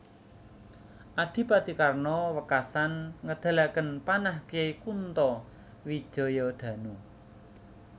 Adipati Karna wekasan ngedalaken panah Kyai Kunto Wijayadanu